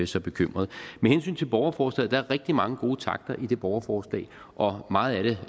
så bekymret med hensyn til borgerforslaget er rigtig mange gode takter i det borgerforslag og meget af det